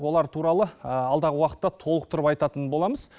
олар туралы алдағы уақытта толықтырып айтатын боламыз